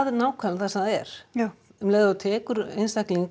nákvæmlega það sem það er já um leið og þú tekur einstakling